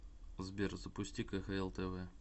сбер запусти кхл тв